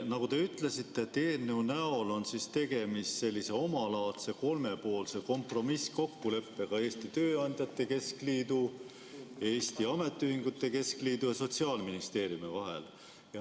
Nagu te ütlesite, eelnõu näol on tegemist omalaadse kolmepoolse kompromisskokkuleppega Eesti Tööandjate Keskliidu, Eesti Ametiühingute Keskliidu ja Sotsiaalministeeriumi vahel.